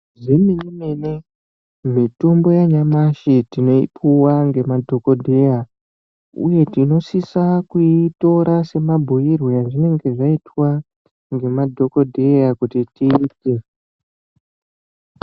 Zvemene mene mitombo yanyamashi tinoipuwa ngemadhokodheya uye tinosisa kuitora semabhuirwe azvinenge zvaitwa ngemadhokodheya kuti tirapwe.